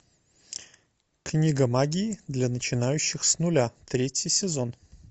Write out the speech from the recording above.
книга магии для начинающих с нуля третий сезон